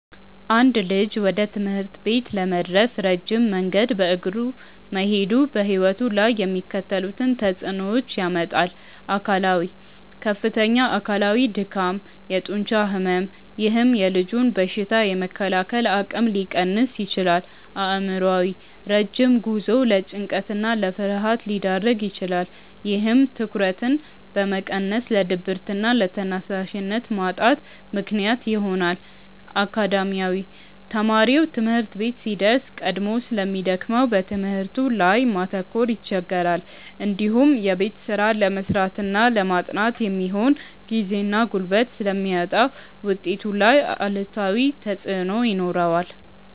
አንድ ልጅ ወደ ትምህርት ቤት ለመድረስ ረጅም መንገድ በእግሩ መሄዱ በሕይወቱ ላይ የሚከተሉትን ተጽዕኖዎች ያመጣል፦ አካላዊ፦ ከፍተኛ አካላዊ ድካም፣ የጡንቻ ሕመም፥፥ ይህም የልጁን በሽታ የመከላከል አቅም ሊቀንስ ይችላል። አእምሯዊ፦ ረጅም ጉዞው ለጭንቀትና ለፍርሃት ሊዳርግ ይችላል። ይህም ትኩረትን በመቀነስ ለድብርትና ለተነሳሽነት ማጣት ምክንያት ይሆናል። አካዳሚያዊ፦ ተማሪው ትምህርት ቤት ሲደርስ ቀድሞ ስለሚደክመው በትምህርቱ ላይ ማተኮር ይቸገራል። እንዲሁም የቤት ስራ ለመስራትና ለማጥናት የሚሆን ጊዜና ጉልበት ስለሚያጣ ውጤቱ ላይ አሉታዊ ተጽዕኖ ይኖረዋል።